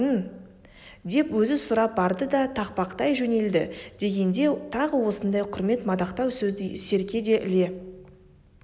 деп өзі сұрап барды да тақпақтай жөнелді дегенде тағы осындай құрмет мадақтау сөзді серке де іле